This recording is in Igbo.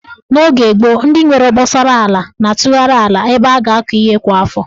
N'oge gboo, ndị nwere obosara ala na-atụgharị ala ebe a ga-akọ ihe kwa afọ.